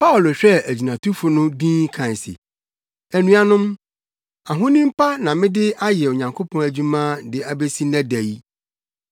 Paulo hwɛɛ agyinatufo no dinn kae se, “Anuanom, ahonim pa na mede ayɛ Onyankopɔn adwuma de abesi nnɛ da yi.”